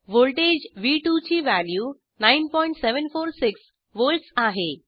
voltage व्ह2 ची value 9746 volts आहे